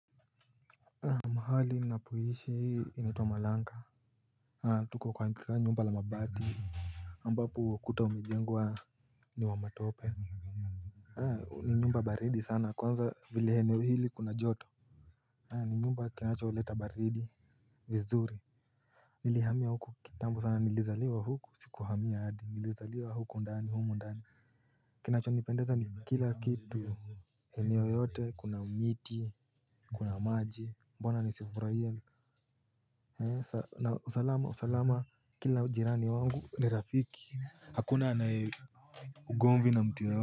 Haa mahali ninapoishi inaitwa malanga tuko kwa nyumba la mabati ambapo ukuta umejengwa ni wa matope Haa ni nyumba baridi sana kwanza vile eneo hili kuna joto ni nyumba kinacholeta baridi vizuri Nilihamia huku kitambo sana nilizaliwa huku sikuhamia adi nilizaliwa huku ndani humu ndani Kinachonipendeza ni kila kitu eneo yote kuna miti kuna maji mbona nisifurahie na usalama kila jirani wangu ni Rafiki Hakuna anaye ugonvi na mtu yeyote.